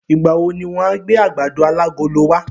Ìgbà wo ni wọ́n á gbé àgbàdo alágolo wa?